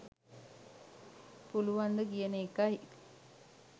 පුලුවන්ද කියන ඒකයි.